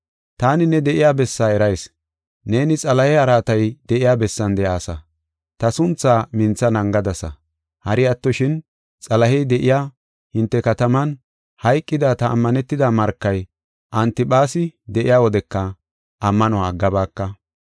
Taani ne de7iya bessaa erayis; neeni Xalahe araatay de7iya bessan de7aasa; ta sunthaa mintha naagadasa. Hari attoshin, Xalahey de7iya hinte kataman hayqida ta ammanetida markay, Antiphaasi, de7iya wodeka ammanuwa aggabaaka.